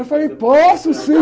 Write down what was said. Eu falei, posso sim!